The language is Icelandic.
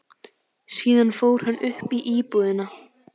Síðan fór hann upp í íbúðina.